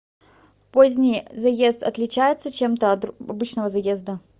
поздний заезд отличается чем то от обычного заезда